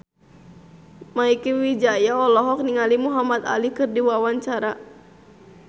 Mieke Wijaya olohok ningali Muhamad Ali keur diwawancara